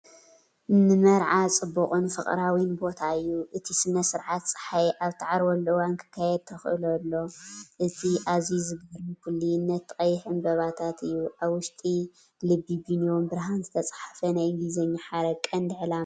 ንመርዓ ጽቡቕን ፍቕራዊን ቦታ እዩ። እቲ ስነ-ስርዓት ጸሓይ ኣብ እትዓርበሉ እዋን ክካየድ ተኽእሎ ኣሎ። እቲ ኣዝዩ ዝገርም ፍሉይነት እቲ ቀይሕ ዕምባባታት እዩ። ኣብ ውሽጢ ልቢ ብኒዮን ብርሃን ዝተጻሕፈ ናይ እንግሊዝኛ ሓረግ ቀንዲ ዕላማ እንታይ እዩ?